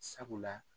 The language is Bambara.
Sabula